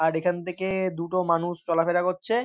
আর এখান থেকে-এ দুটো মানুষ চলাফেরা করছে।